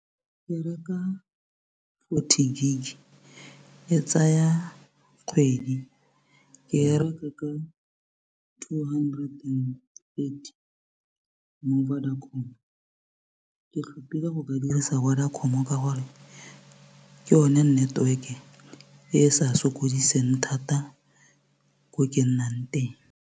Ke reka fourty gig e tsaya kgwedi ke e reka ka two hundred and thirty mo Vodacom ke tlhopile go ka dirisa Vodacom ka gore ke yone network e e sa sokodiseng thata ko ke nnang ko teng.